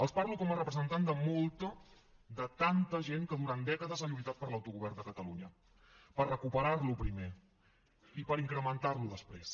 els parlo com a representant de molta de tanta gent que durant dècades ha lluitat per l’autogovern de catalunya per recuperarlo primer i per incrementarlo després